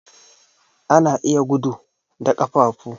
Ana iya gudu da ƙafafu.